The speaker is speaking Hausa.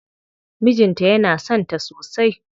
Mijin ta yana son ta sosai.